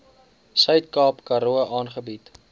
suidkaap karoo aangebied